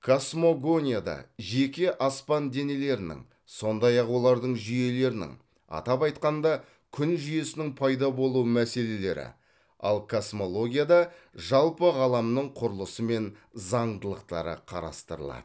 космогонияда жеке аспан денелерінің сондай ақ олардың жүйелерінің атап айтқанда күн жүйесінің пайда болу мәселелері ал космологияда жалпы ғаламның құрылысы мен заңдылықтары қарастырылады